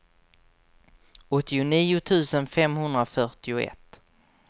åttionio tusen femhundrafyrtioett